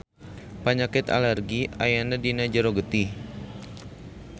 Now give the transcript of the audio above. Panyakit alergi ayana dina jero getih.